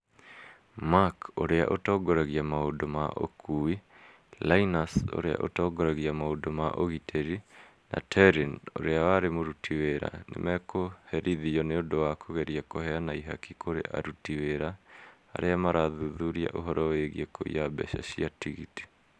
Mark, ũrĩa ũtongoragia maũndũ ma ũkuui, Linus, ũrĩa ũtongoragia maũndũ ma ũgitĩri, na Terine, ũrĩa warĩ mũruti wĩra, nĩ mekũherithio nĩ ũndũ wa kũgeria kũheana ihaki kũrĩ aruti wĩra arĩa maarathuthuria ũhoro wĩgiĩ kũiya mbeca cia tigiti.